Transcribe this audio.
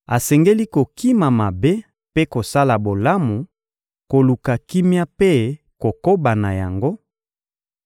asengeli kokima mabe mpe kosala bolamu, koluka kimia mpe kokoba na yango,